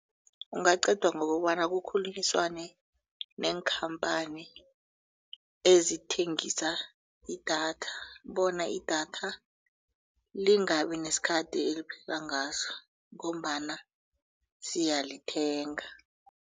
Ungaqedwa ngokobana kukhulunyiswane neenkhamphani ezithengisa idatha bona idatha lingabi nesikhathi eliphela ngaso ngombana siyalithenga.